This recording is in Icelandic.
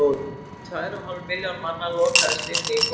um tvær og hálf milljón manna lokaðist inni í borginni